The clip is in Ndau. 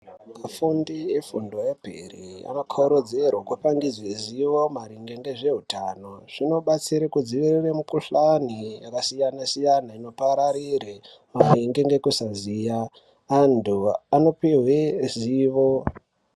Afundi efundo yemberi akakarudzirwe kupangidze ziwo maringe ngezveutano zvinobatsire kudziirira mikuhlani yakasiyana siyana inopararire maringe ngekusaziya anthu anopihwe zivo.